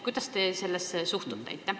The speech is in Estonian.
Kuidas te sellesse suhtute?